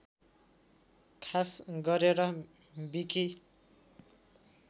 खास गरेर विकि